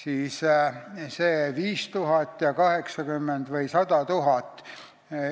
Võrrelge neid arve: 5000 ja 80 000 või 100 000.